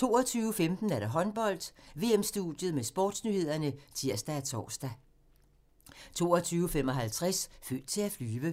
22:15: Håndbold: VM-studiet med sportsnyhederne (tir og tor) 22:55: Født til at flyve